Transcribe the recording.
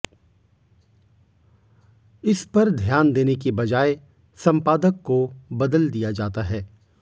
इस पर ध्यान देने की बजाए संपादक को बदल दिया जाता है